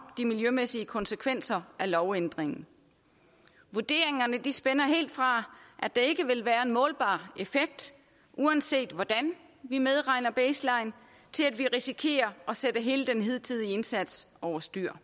de miljømæssige konsekvenser af lovændringen vurderingerne spænder helt fra at der ikke vil være en målbar effekt uanset hvordan vi medregner baseline til at vi risikerer at sætte hele den hidtidige indsats over styr